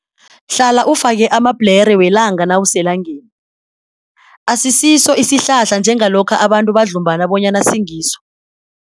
Hlala ufake amabhlere welanga nawuselangeni. Asisiso isihlahla njengalokha abantu badlumbana bonyana singiso.